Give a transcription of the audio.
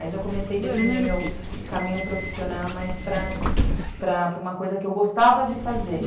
Aí já comecei a definir meu caminho profissional mais para para uma coisa que eu gostava de fazer.